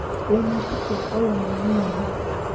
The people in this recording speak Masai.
Lonotito olongolingoli.